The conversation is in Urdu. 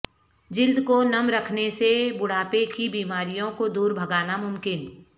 جلد کو نم رکھنے سے بڑھاپے کی بیماریوں کو دور بھگانا ممکن